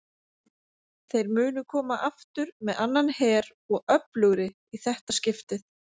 Þeir munu koma aftur með annan her og öflugri í þetta skiptið!